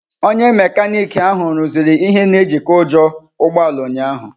Onye mekaniki ahụ rụziri ihe na ejiko ujo ụgbọ ala ụnyahụ.